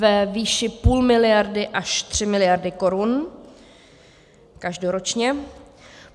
ve výši půl miliardy až tři miliardy korun každoročně.